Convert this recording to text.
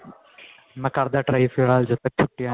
ਮੈਂ ਕਰਦੇ ਆਂ try ਫਿਲਹਾਲ ਜਦ ਤੱਕ ਛੁੱਟੀਆਂ ਨੇ